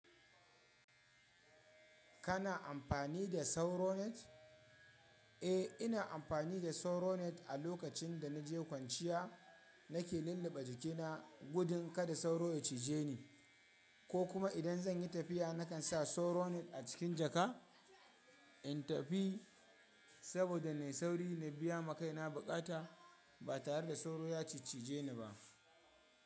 Kana amfani da sauro net? Eh, ina amfani da sauro net a lokacin da naje kwanciya. Nake lulluɓa jikina gudun kada sauro ya cije ni, ko kuma idan zan yi tafiya nakan sa sauro net a cikin jaka in tafi, saboda na yi sauri na biya ma kaina buƙata ba tare da sauro ya ciccije ni ba.